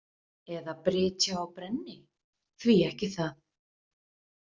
Eða brytja og brenni, því ekki það?